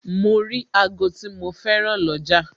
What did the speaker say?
Mo rí ago tí mo féràn lọ́jà